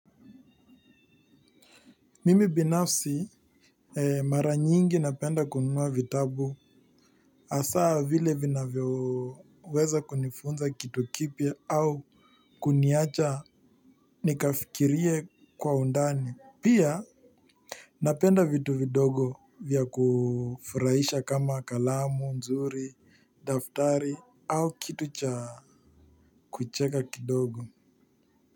Mimi binafsi mara nyingi napenda kununua vitabu hasa vile vinyoweza kunifunza kitu kipwa au kuniacha nikafikirie kwa undani pia napenda vitu vidogo vya kufurahisha kama kalamu zuri kama daftari au kitu cha kucheka kidogo.